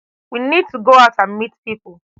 we need to go out and meet pipo